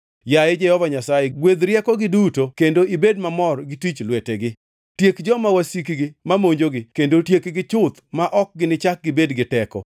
Yaye Jehova Nyasaye, gwedh riekogi duto kendo ibed mamor gi tij lwetegi. Tiek joma wasikgi ma monjogi; kendo tiekgi chuth ma ok ginichak gibed gi teko.”